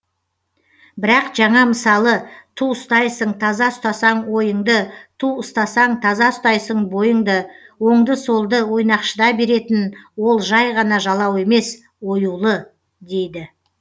бірақ жаңа мысалы ту ұстайсың таза ұстасаң ойыңды ту ұстасаң таза ұстайсың бойыңды оңды солды ойнақшыта беретін ол жай ғана жалау емес оюлы дейді